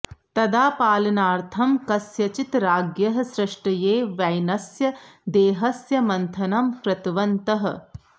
तदा पालनार्थं कस्यचित् राज्ञः सृष्ट्यै वैनस्य देहस्य मन्थनं कृतवन्तः